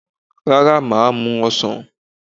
Rárá, màá mu ọsàn